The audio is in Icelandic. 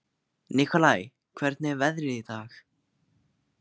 Nikolai, hvernig er veðrið í dag?